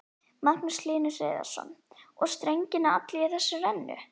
Magnús Hlynur Hreiðarsson: Og strengirnir allir í þessari rennu?